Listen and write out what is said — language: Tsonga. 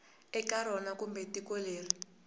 eka rona kumbe tiko leri